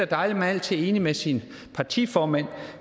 dejligt man altid er enig med sin partiformand